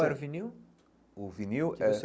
Qual era o vinil? O vinil era que você